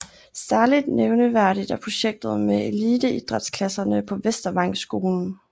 Særligt nævneværdigt er projektet med eliteidrætsklasserne på Vestervangskolen